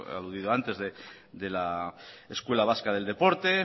aludido antes de la escuela vasca del deporte